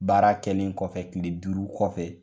Baara kɛlen kɔfɛ kile duuru kɔfɛ